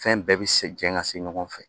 Fɛn bɛɛ bɛ se jɛn ka se ɲɔgɔn fɛ